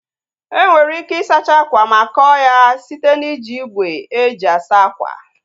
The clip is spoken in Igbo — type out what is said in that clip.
Enwere ike ị sacha akwa ma kọọ ya site na iji igwe e ji asa akwa